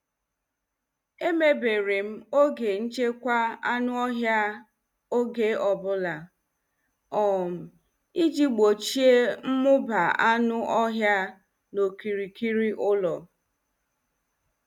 E mebere m oge nchekwa anụ ọhịa oge ọbụla, um iji gbochie mmuba anụ ọhịa n'okirikiri ụlọ